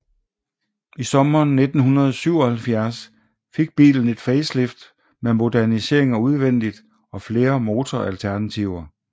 I sommeren 1977 fik bilen et facelift med modificeringer udvendigt og flere motoralternativer